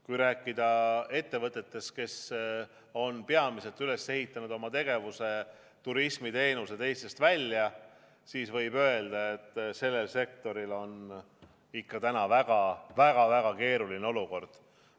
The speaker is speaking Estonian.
Kui rääkida ettevõtetest, kes on oma tegevuse üles ehitanud peamiselt pakkudes turismiteenuseid Eestist välja, siis võib öelda, et sellel sektoril on täna väga-väga keeruline olukord.